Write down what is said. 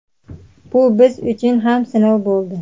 Bu biz uchun ham sinov bo‘ldi.